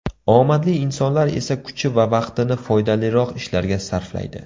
Omadli insonlar esa kuchi va vaqtini foydaliroq ishlarga sarflaydi.